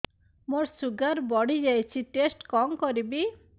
ମୋର ଶୁଗାର ବଢିଯାଇଛି ଟେଷ୍ଟ କଣ କରିବି